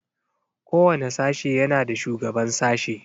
Kowane sashe yana da shugaban sashe.